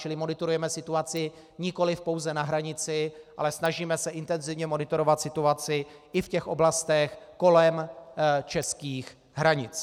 Čili monitorujeme situaci nikoli pouze na hranici, ale snažíme se intenzivně monitorovat situaci i v těch oblastech kolem českých hranic.